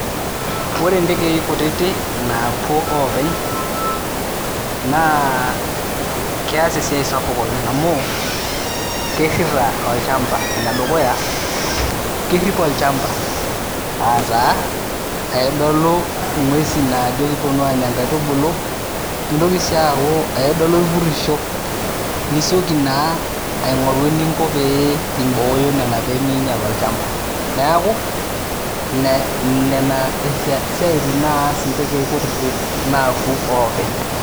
Ore ntekei kutitik napuo openy na keas esiai sapuk oleng amu kirira olchamba amu enedukuya kerip olchamba aa taa aidolu ngwesi na kejo kiponu anya nkaitubulu nintoki sii aaku aidolu irpurisho nisieki na ainguraa eningo peimboyo pemeinyel olchamba, neaku ine nena siatin naas ntekei kutitik naapuo openy.